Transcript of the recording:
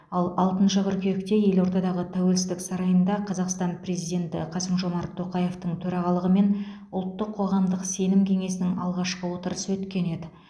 ал алтыншы қыркүйекте елордадағы тәуелсіздік сарайында қазақстан президенті қасым жомарт тоқаевтың төрағалығымен ұлттық қоғамдық сенім кеңесінің алғашқы отырысы өткен еді